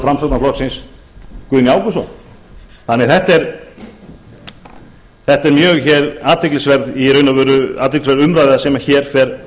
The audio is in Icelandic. framsóknarflokksins guðni ágústsson þannig að þetta er í raun og veru mjög athyglisverð umræða sem hér fer